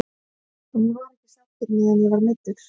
En ég var ekki sáttur meðan ég var meiddur.